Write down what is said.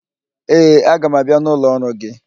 Ee, aga m abịa n'ụlọ ọrụ gị